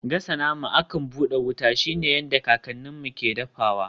Gasa nama akan buɗe wuta shine yadda kakanninmu ke dafawa.